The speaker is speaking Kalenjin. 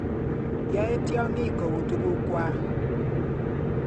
Yae tiongik kou tuguk kwai